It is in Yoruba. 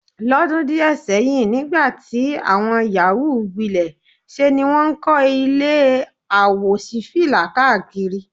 Ló̩dún díè̩ sé̩yìn nígbà tí àwo̩n yàwúù gbilè̩ se ni wó̩n ń kó̩ ilé àwòs̩ífìlà káàkiri.